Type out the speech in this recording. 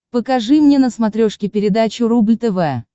покажи мне на смотрешке передачу рубль тв